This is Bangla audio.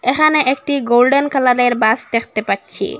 এখানে একটি গোল্ডেন কালারের বাস দেখতে পাচ্ছি।